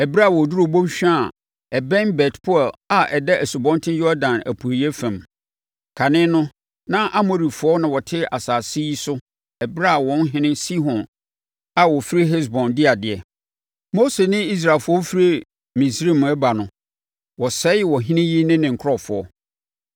ɛberɛ a wɔduruu bɔnhwa a ɛbɛn Bet-Peor a ɛda Asubɔnten Yordan apueeɛ fam. Kane no, na Amorifoɔ na wɔte asase yi so ɛberɛ a wɔn ɔhene Sihon a ɔfiri Hesbon di adeɛ. Mose ne Israelfoɔ firi Misraim ɛreba no, wɔsɛe ɔhene yi ne nkurɔfoɔ.